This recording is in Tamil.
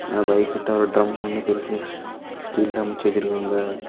அந்த பைக்கிட்ட ஒரு டிரம் ஒன்னு பெருசா ஸ்டீல்ல அமைச்சு வச்சிருக்காங்க.